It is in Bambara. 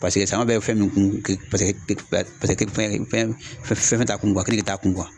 Paseke saɲɔn bɛ fɛn min kun paseke fɛn fɛn fɛn t'a kun kenike t'a kun.